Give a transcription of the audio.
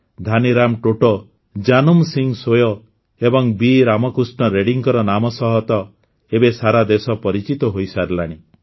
ଧାନିରାମ ଟୋଟୋ ଜାନୁମ୍ ସିଂ ସୋୟ ଏବଂ ବି ରାମକୃଷ୍ଣ ରେଡ୍ଡିଙ୍କ ନାମ ସହ ତ ଏବେ ସାରା ଦେଶ ପରିଚିତ ହୋଇସାରିଲାଣି